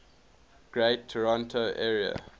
greater toronto area